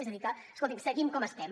és a dir que escoltin seguim com estem